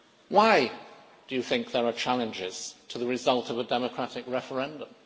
Why do you think there are challenges to the result of a democratic referendum?